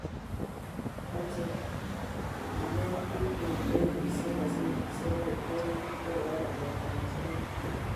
Mache kenet piik eng' redioishek ,gazetishek ak kiptang'anyit akoba namet ab asoya